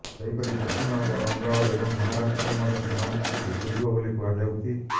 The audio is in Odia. ସେହିପରି ପଶ୍ଚିମବଙ୍ଗ ଏବଂ ମହାରାଷ୍ଟ୍ରରେ ମଧ୍ୟ ସମାନ ସ୍ଥିତି ଉପୁଜିବ ବୋଲି କୁହାଯାଉଛି